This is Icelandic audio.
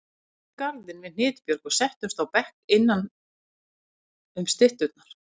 Við fórum í garðinn við Hnitbjörg og settumst á bekk innanum stytturnar.